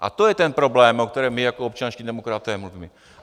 A to je ten problém, o kterém my jako občanští demokraté mluvíme.